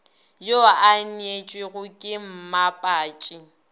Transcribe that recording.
yo a neetšwego ke mmapatši